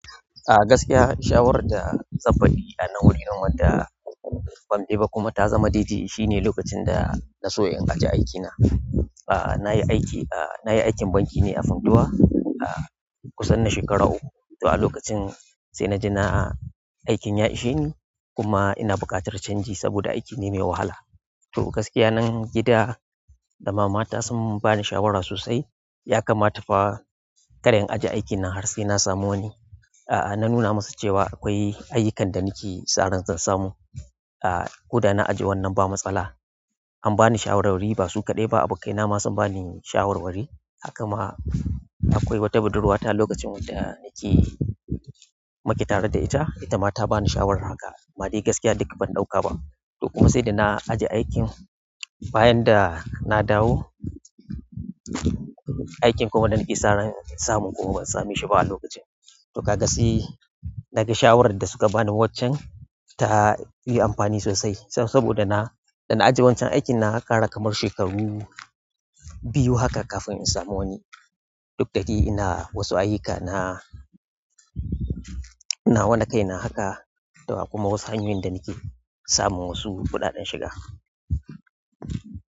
A gaskiya shawarar da zan faɗi a nan wuri nan wanda ban ɗeba kuma ta zama daidai shine lokacin da na so in aje aikina. A, na yi aiki, a, na yi aikin banki ne a Funtua, a kusan na shekara uku. A lokacin sai na ji na aikin ya ishe ni kuma ina buƙatar canji saboda aiki ne mai wahala. To gaskiya nan gida da mama ta sun ba ni shawara sosai, ya kama ta fa kar in ajiye aikina har sai na samu wani. A, na nuna musu cewa akwai ayyukan da nake saran zan samu, a, ko da na ajiye wannan ba matsala. Am bani shawarar wari basu kaɗai ba abokai na ma sun bani shawar wari hakama akwai wata budurwa ta lokacin wadda muke tare da ita itama tabani shawarar wari haka amma dai gaskiya duk ban ɗauka ba. To kuma sai da na ajiye aikin bayan da na dawo, aikin kuma da nake saran samun kuma ban same shi ba a lokacin. To ka ga sai naga shawarar da su ka ba ni waccen ta yi amfani sosai saboda na, da na ajiye wancan aikin na ƙara kamar shekaru biyu haka kafin in samu wani. Duk da shi ina wasu ayyuka, na, inna nawa na kaina haka. To kuma wasu hanyoyin da nake samun wasu kuɗaɗen shiga.